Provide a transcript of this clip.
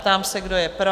Ptám se, kdo je pro?